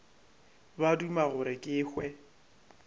ba duma gore ke hwe